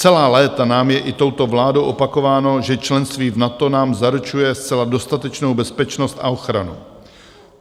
Celá léta nám je i touto vládou opakováno, že členství v NATO nám zaručuje zcela dostatečnou bezpečnost a ochranu.